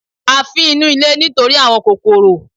A fín inú ilé nítorí àwọn kòròkò